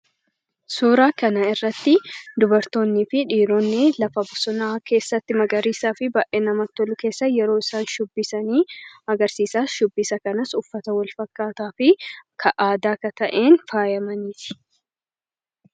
Suuraa kana irratti dubartoonnii fi dhiironni lafa bosonaa magariisaa fi baay'ee namatti tolu keessa yeroo isaan shubbisan agarsiisa. Shubbisa kanas uffata aadaa walfakkaataa kan ta'een faayamaniiti.